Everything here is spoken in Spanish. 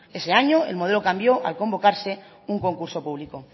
ese año el modelo cambió al convocarse un concurso público